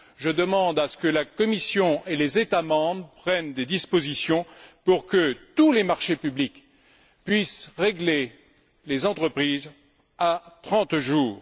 Je demande à ce que la Commission et les États membres prennent des dispositions pour que tous les marchés publics puissent régler les entreprises à 30 jours.